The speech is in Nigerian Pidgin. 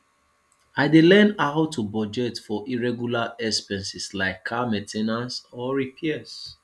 i dey learn how to budget for irregular expenses like car main ten ance or repairs